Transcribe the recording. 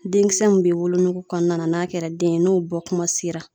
Denkisɛ min bɛ wolonugu kɔnɔna na n'a kɛra den ye n'o bɔ kuma sera.